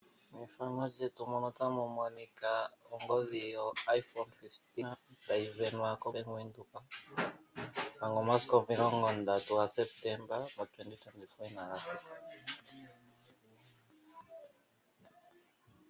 Ongodhi yoiphone15 tayi sindamwa kobaanga yaVenduka omanga omasiku 30 ga Sepetemba inaga thika.